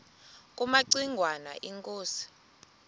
kumaci ngwana inkosi